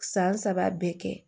San saba bɛɛ kɛ